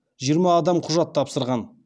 жиырма адам құжат тапсырған